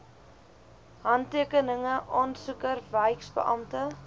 handtekeninge aansoeker wyksbeampte